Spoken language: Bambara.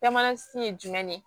Bɛɛ mana si ye jumɛn de ye